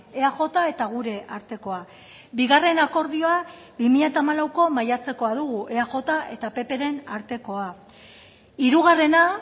eaj eta gure artekoa bigarren akordioa bi mila hamalauko maiatzekoa dugu eaj eta ppren artekoa hirugarrena